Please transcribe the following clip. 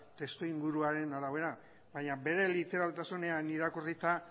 testuinguruaren arabera baina bere literaltasunean irakurrita